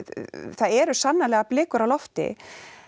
það eru sannarlega blikur á lofti